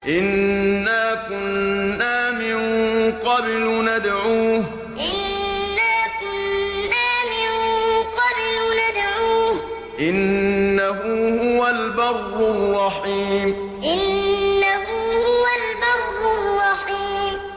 إِنَّا كُنَّا مِن قَبْلُ نَدْعُوهُ ۖ إِنَّهُ هُوَ الْبَرُّ الرَّحِيمُ إِنَّا كُنَّا مِن قَبْلُ نَدْعُوهُ ۖ إِنَّهُ هُوَ الْبَرُّ الرَّحِيمُ